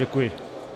Děkuji.